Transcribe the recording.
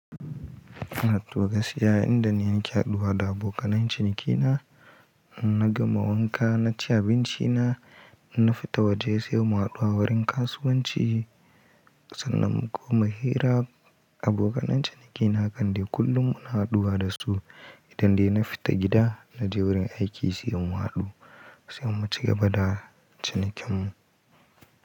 Ina to gaskiya idan ni nake haɗuwa da abokanan cinikina, na gama wanka naci abinci na, na fita waje sai mu haɗu a wurin kasuwanci sannan mu koma hira. Abokanan cinikina kande kullum muna haduwa da su. Idan dai na fita gida naje wurin aiki sai mun haɗu sai mu ci gaba da cinikinmu.